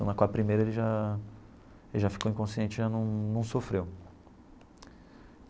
Com a primeira, ele já ele já ficou inconsciente, já num num sofreu.